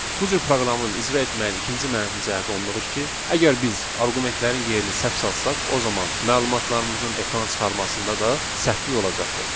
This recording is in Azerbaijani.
Bu cür proqramı icra etməyin ikinci mənfi cəhəti ondadır ki, əgər biz arqumentlərin yerini səhv salsaq, o zaman məlumatlarımızın ekrana çıxarmasında da səhvlik olacaqdır.